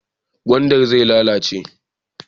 Gwandar zai lalace.